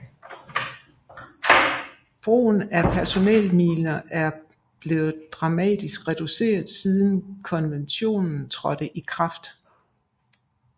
Brugen af personelminer er blevet dramatisk reduceret siden konventionen trådte i kraft